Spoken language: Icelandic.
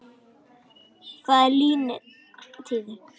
Þetta er liðin tíð.